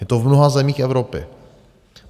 Je to v mnoha zemích Evropy.